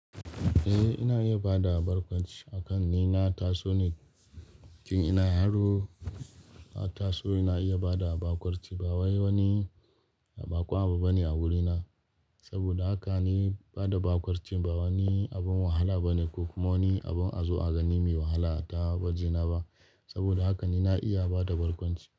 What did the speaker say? Eh, ina iya bada barkwanci akan ni. Na taso ni cikin ina yaro, na taso ina iya bada barkwanci. Ba wai wani baƙon abu bane a wurina. Saboda haka ni bada barkwanci ba wani abun wahala bane ko kuma wani abun a zo a gani mai wahala a ta gwajina ba. Saboda haka ni na iya bada barkwanci.